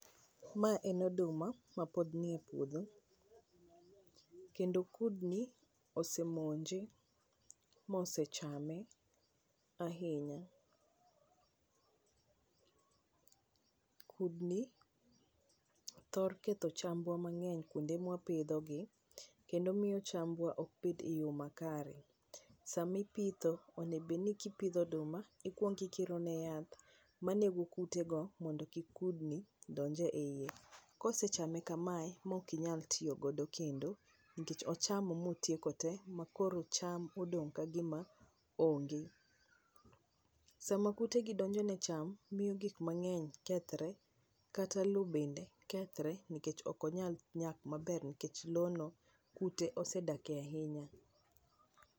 Mae en oduma ma pod nie puodho kendo kudni osemonje mose chame ahinya. Kudni thoro ketho chambwa mang'eny kuonde mwa pidho gi kendo miyo chambwa ok bed e yo makare, sami pitho onego bed ni kipidho oduma ti kuongi kiro ne yath manego kute go mondo kik kudni donj e iye, kose chame kamae ma ok inyal tiyo kode kendo nikech ochamo motieko te ma koro cham odong ka gima ong'e, sama kute gi donjo ne cham miyo gik mang'eny kethre, kata lo bende kethre nikech ok onyal nyak maber nikech lono kute osedak ahinya.